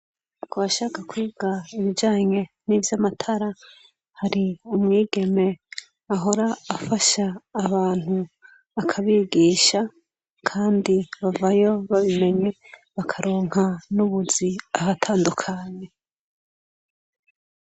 Kubashaka kwiga ibijanye nivy'amatara, hari umwigeme ahora afasha abantu akabigisha ,kandi bavayo babimenye, bakaronka n'ubuzi ahatandukanye.